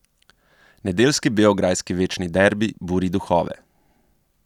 Nedeljski beograjski večni derbi buri duhove.